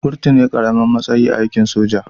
Kurtu ne karamin matsayi a aikin soja